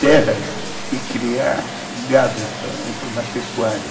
terras e criar gado, entrou na pecuária.